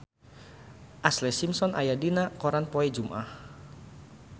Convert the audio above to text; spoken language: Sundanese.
Ashlee Simpson aya dina koran poe Jumaah